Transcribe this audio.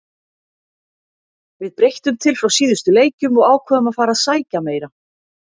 Við breyttum til frá síðustu leikjum og ákváðum að fara að sækja meira.